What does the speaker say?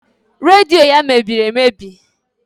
Redio ya mebiri emebi